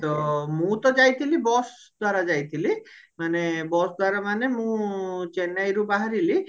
ତ ମୁଁ ତ ଯାଇଥିଲି bus ଦ୍ଵାରା ଯାଇଥିଲି ମାନେ bus ଦ୍ଵାରା ମାନେ ମୁଁ ଚେନ୍ନାଇରୁ ବାହାରିଲି